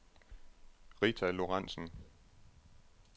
Rita Lorentzen